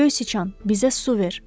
Göy siçan bizə su ver.